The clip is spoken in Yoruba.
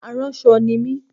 Aránṣọ ni mí